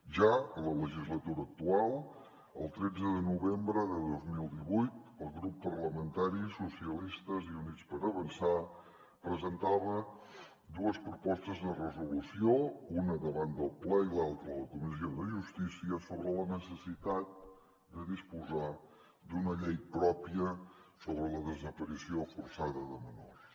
ja en la legislatura actual el tretze de novembre de dos mil divuit el grup parlamentari socialistes i units per avançar presentava dues propostes de resolució una davant del ple i l’altra a la comissió de justícia sobre la necessitat de disposar d’una llei pròpia sobre la desaparició forçada de menors